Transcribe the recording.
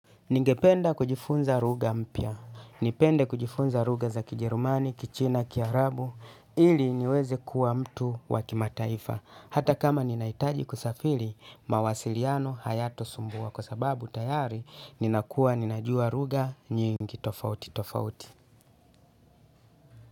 Ningependa kujifunza lugha mpya, nipende kujifunza lugha za kijerumani, kichina, kiarabu, ili niweze kuwa mtu wakimataifa, hata kama ninaitaji kusafiri mawasiliano hayatasumbua kwa sababu tayari ninakuwa ninajua lugha nyingi tofauti tofauti.